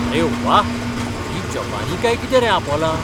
अरे व्वा! हीं जपानी काय कितें रे आपोलां?